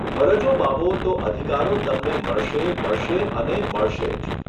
ફરજો વાવો તો અધિકારો તમને મળશે, મળશે અને મળશે જ.